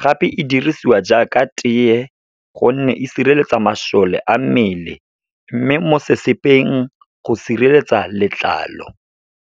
Gape e dirisiwa jaaka teye, gonne e sireletsa masole a mmele. Mme mo sesepeng go sireletsa letlalo.